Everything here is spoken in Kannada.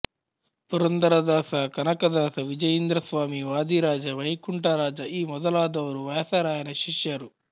ಪುರಂದರದಾಸ ಕನಕದಾಸ ವಿಜಯೀಂದ್ರಸ್ವಾಮಿ ವಾದಿರಾಜ ವೈಕುಂಠರಾಜ ಈ ಮೊದಲಾದವರು ವ್ಯಾಸರಾಯನ ಶಿಷ್ಯರು